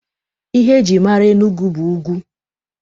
Ihe e jiri mara Enugwu bụ ugwu.